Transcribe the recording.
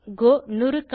கோ 100100